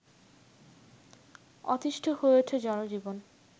অতিষ্ঠ হয়ে উঠে জনজীবন